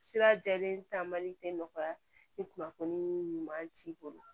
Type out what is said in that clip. Sira jɛlen taamali tɛ nɔgɔya ni kunnafoni ɲuman t'i bolo